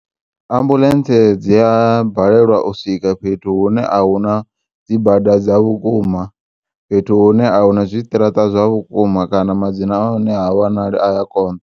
Ambulentse dzia balelwa uswika fhethu hune ahuna dzibada dza vhukuma, fhethu hune ahuna zwiṱiraṱa zwa vhukuma kana madzina ahone ha wanali aya konḓa.